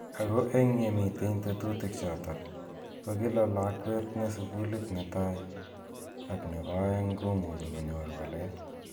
Ako eng yemami tetutik chotok , ko kila lakwet ne sukulit netai ak nebo aeng komuchi konyor walet.